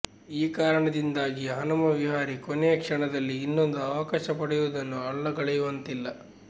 ಈ ಕಾರಣದಿಂದಾಗಿ ಹನುಮ ವಿಹಾರಿ ಕೊನೆಯ ಕ್ಷಣದಲ್ಲಿ ಇನ್ನೊಂದು ಅವಕಾಶ ಪಡೆಯುವುದನ್ನು ಅಲ್ಲಗೆಳೆಯುವಂತಿಲ್ಲ